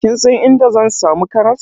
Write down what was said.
Kin san inda zan samu karas?